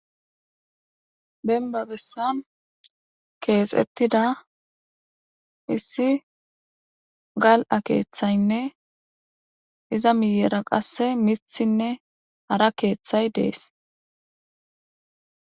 Demba biitan keexetida issi gal'a keethayne iza miyera kaseka mithine hara keethay de'es.